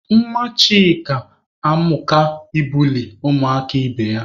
Nwa Chika amụka ịbuli ụmụaka ibe ya.